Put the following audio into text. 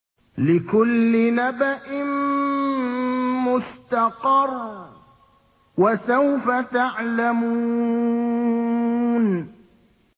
لِّكُلِّ نَبَإٍ مُّسْتَقَرٌّ ۚ وَسَوْفَ تَعْلَمُونَ